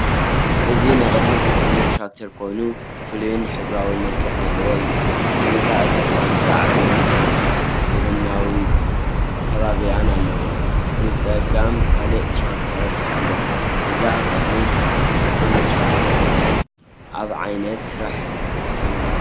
እዚ ንቕድሚት ዝጥምት ትራክተር ኮይኑ፡ ፍሉይን ሕብራዊ መልክዕ ዘለዎን እዩ። ቅድሚት እታ ትራክተር ዓበይቲ ጎማታትን ዘመናዊት ካቢንን ኣለዋ። ብጸጋም ካልእ ትራክተር ኣሎ፡ እዛ ንቕድሚት ትጥምት ትራክተር እንታይ ኣብ ዓይነት ስራሕ ትሰማሮ?